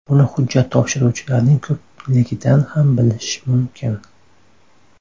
Buni hujjat topshiruvchilarning ko‘pligidan ham bilish mumkin”.